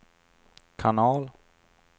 kanal